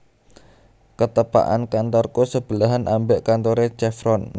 Ketepakan kantorku sebelahan ambek kantore Chevron